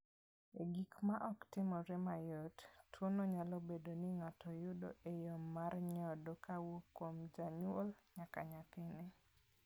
E gik ma ok timore mayot, tuo no nyalo bedo ni ng�ato yudo e yo mar nyodo kowuok kuom janyuol nyaka nyathine.